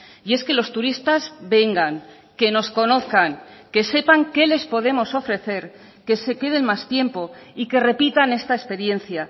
y es que los turistas vengan que nos conozcan que sepan qué les podemos ofrecer que se queden más tiempo y que repitan esta experiencia